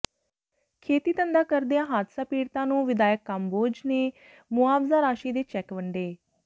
ਖੇਤੀਧੰਦਾ ਕਰਦਿਆਂ ਹਾਦਸਾ ਪੀੜਤਾਂ ਨੂੰ ਵਿਧਾਇਕ ਕੰਬੋਜ ਨੇ ਮੁਆਵਜ਼ਾ ਰਾਸ਼ੀ ਦੇ ਚੈੱਕ ਵੰਡੇ